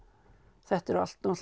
þetta eru allt